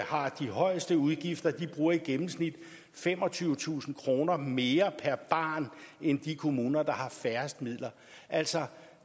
har de højeste udgifter bruger i gennemsnit femogtyvetusind kroner mere per barn end de kommuner der har færrest midler altså